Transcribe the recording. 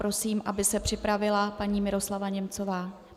Prosím, aby se připravila paní Miroslava Němcová.